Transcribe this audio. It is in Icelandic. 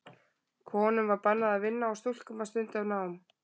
Konum var bannað að vinna og stúlkum að stunda nám.